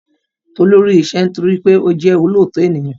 Tolú rí iṣẹ́ nítorí wípé ó jẹ́ olóòótọ ènìyàn